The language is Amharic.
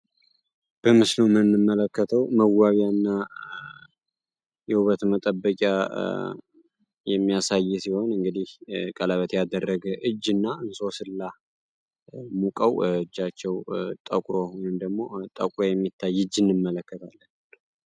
በምስሉ ምንመለከተው መዋቢያ እና የውበት የውበት መጠበቂያ የሚያሳይ ሲሆን እንግዲል ቀለበት ያደረገ እጅ እና እንሶስላ ሙቀው እጃቸው ጠቁር ወይንም ደግሞ ጠቁሮ የሚታይ አጅ እንመለከታለን።